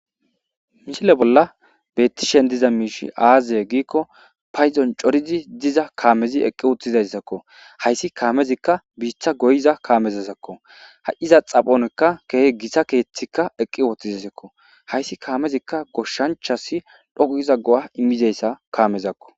Misile bolla bettishen diza miishi aazye giikko payzon corizi diza kaamezi eqqi uttizayssakko hayssi kaamezikka biitha goyiza kaamezazakko ha7iza xaphonkka keehe gisa keeththikka eqqi wothizasakko hayssi kaamezikka goshshanchasi dhogiza go7a immizayssa kaamezakko.